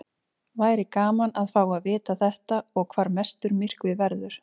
Væri gaman að fá að vita þetta og hvar mestur myrkvi verður.